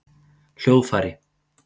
hljóðfæri